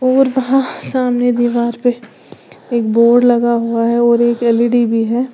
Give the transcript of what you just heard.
और वहां सामने दीवार पे एक बोर्ड लगा हुआ है और एक एल_इ_डी भी है।